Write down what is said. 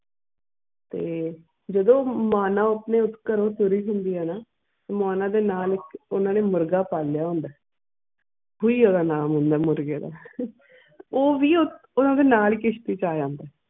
ਤੇ ਜਦੋਂ ਉਹ ਮਾਨਾ ਆਪਣੇ ਘਰੋਂ ਤੁਰੀ ਹੁੰਦੀ ਆ ਨਾ ਮਾਨਾ ਦੇ ਨਾਲ ਓਹਨਾ ਨੇ ਮੁਰਗਾ ਪਾਲਿਆ ਹੁੰਦਾ ਆ ਉਹ ਵੀ ਉਹ ਨਾਲ ਕਿਸ਼ਤੀ ਚ ਆਇਆ ਹੁੰਦਾ ਆ